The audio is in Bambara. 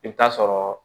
I bɛ taa sɔrɔ